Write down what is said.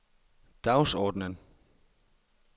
dagsordenen